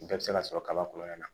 Bɛɛ bɛ se ka sɔrɔ kaba kɔnɔna na